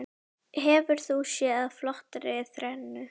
Hefur þú séð flottari þrennu?